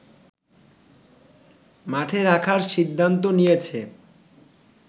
মাঠে রাখার সিদ্ধান্ত নিয়েছে